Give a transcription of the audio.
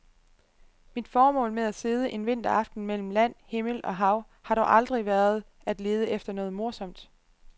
Mit formål med at sidde en vinteraften mellem land, himmel og hav har dog aldrig været at lede efter noget morsomt.